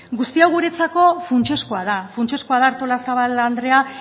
guzti hau guretzako funtsezkoa da funtsezkoa da artolazabal andrea